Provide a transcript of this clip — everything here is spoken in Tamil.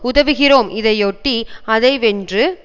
உதவுகிறோம் இதையொட்டி அதை வெற்று